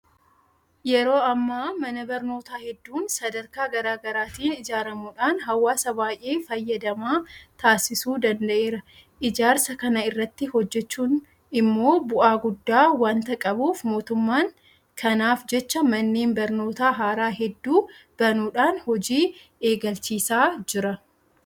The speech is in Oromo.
Yeroo ammaa mana barnootaa hedduun sadarkaa garaa garaatiin ijaaramuudhaan hawaasa baay'ee fayyadamaa taasisuu danda'eera. Ijaarsa kana irratti hojjechuun immoo bu'aa guddaa waanta qabuuf mootummaan kanaaf jecha manneen barnootaa haaraa hedduu banuudhaan hojii eegalchiisaa jira.